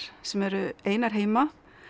sem eru einar heima